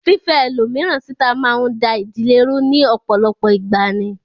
Fífẹ́ ẹlòmíràn níta máa ń da ìdílé rú ní ọ̀pọ̀lọpọ̀ ìgbà ni